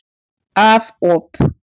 Af op.